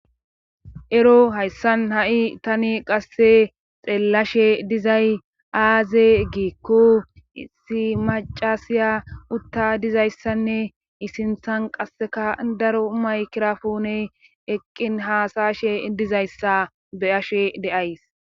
Ero hayssan ha7i tani qasse xeellashe dizay aaze giikko issi macasiya utta dizayssanne isinthan qasseka daro maykirafoone eqqin haasashe dizayssa beyashe deays.